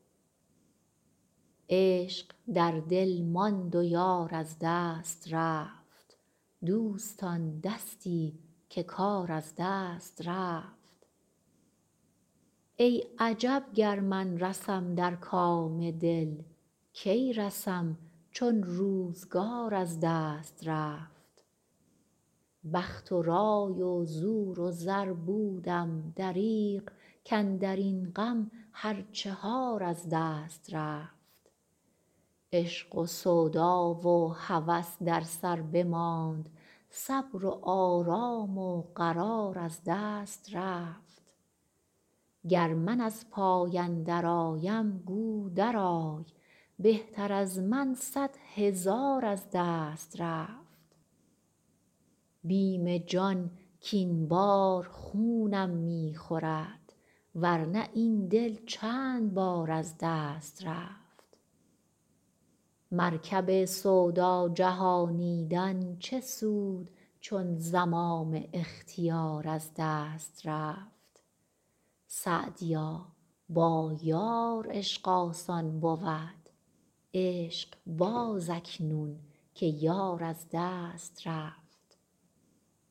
عشق در دل ماند و یار از دست رفت دوستان دستی که کار از دست رفت ای عجب گر من رسم در کام دل کی رسم چون روزگار از دست رفت بخت و رای و زور و زر بودم دریغ کاندر این غم هر چهار از دست رفت عشق و سودا و هوس در سر بماند صبر و آرام و قرار از دست رفت گر من از پای اندرآیم گو درآی بهتر از من صد هزار از دست رفت بیم جان کاین بار خونم می خورد ور نه این دل چند بار از دست رفت مرکب سودا جهانیدن چه سود چون زمام اختیار از دست رفت سعدیا با یار عشق آسان بود عشق باز اکنون که یار از دست رفت